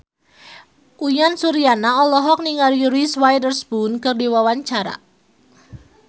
Uyan Suryana olohok ningali Reese Witherspoon keur diwawancara